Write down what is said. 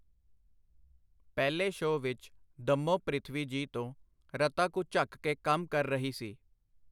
ਪਹਿਲੇ ਸ਼ੋ ਵਿਚ ਦੱਮੋ ਪ੍ਰਿਥਵੀ ਜੀ ਤੋਂ ਰਤਾ ਕੁ ਝੱਕ ਕੇ ਕੰਮ ਕਰ ਰਹੀ ਸੀ.